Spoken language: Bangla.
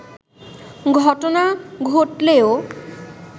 ঘটনা ঘটলেও